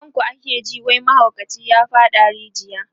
kan ku ake ji wai mahaukaci ya faɗa a rijiya